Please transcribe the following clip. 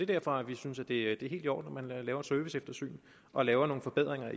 derfor vi synes at det er helt i orden at man i laver et serviceeftersyn og laver nogle forbedringer